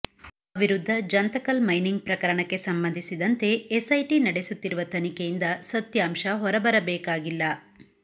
ತಮ್ಮ ವಿರುದ್ಧ ಜಂತಕಲ್ ಮೈನಿಂಗ್ ಪ್ರಕರಣಕ್ಕೆ ಸಂಬಂಧಿಸಿದಂತೆ ಎಸ್ಐಟಿ ನಡೆಸುತ್ತಿರುವ ತನಿಖೆಯಿಂದ ಸತ್ಯಾಂಶ ಹೊರ ಬರಬೇಕಾಗಿಲ್ಲ